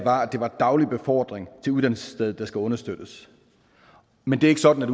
er daglig befordring til uddannelsesstedet der skal understøttes men det er ikke sådan